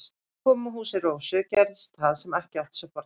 Þegar við komum að húsi Rósu gerðist það sem ekki átti sér fordæmi.